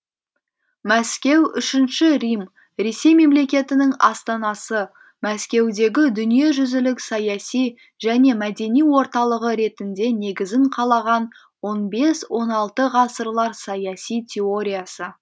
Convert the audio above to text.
мәскеу үшінші рим ресей мемлекетінің астанасы мәскеудегі дүниежүзілік саяси және мәдени орталығы ретінде негізін қалаған он бес он алты ғасырлар саяси теориясы